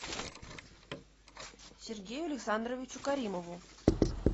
сергею александровичу каримову